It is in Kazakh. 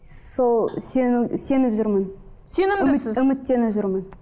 сол сенім сеніп жүрмін үміттеніп жүрмін